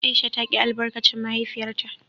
Aisha ta ki albarkacin mahaifiyarta.